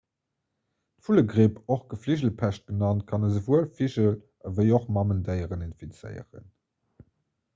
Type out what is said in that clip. d'vullegripp och gefligelpescht genannt kann esouwuel vigel ewéi och mamendéieren infizéieren